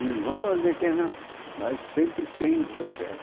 Eles vão, dizem que é na, mas sempre sem o que eu quero.